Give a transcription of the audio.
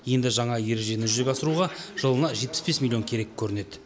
енді жаңа ережені жүзеге асыруға жылына жетпіс бес миллион керек көрінеді